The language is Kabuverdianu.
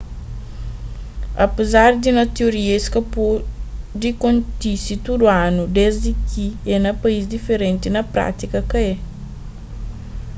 apézar di na tioria es pode kontise tudu anu desdi ki é na país diferenti na prátika ka é